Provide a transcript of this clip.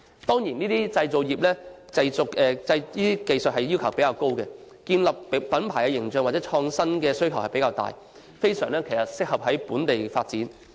這些製造業技術要求較高，建立品牌形象和創新的需要較大，非常適合在本土發展。